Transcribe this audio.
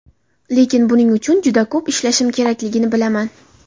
Lekin buning uchun juda ko‘p ishlashim kerakligini bilaman.